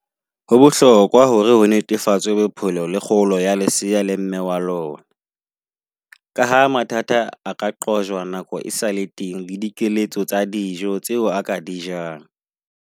Ho bohlokwa hore ho netefatswe bophelo le kgolo ya leseya le mme wa lona. Ka ha mathata a ka qojwa nako e sale teng, le dikeletso tsa dijo tseo a ka di jang.